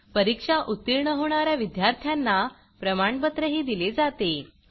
परीक्षा उत्तीर्ण होणा या विद्यार्थ्यांना प्रमाणपत्रही दिले जाते